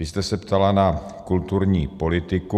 Vy jste se ptala na kulturní politiku.